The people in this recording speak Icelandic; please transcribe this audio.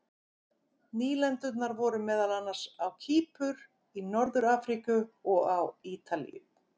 Nýlendurnar voru meðal annars á Kýpur, í Norður-Afríku og á Ítalíu.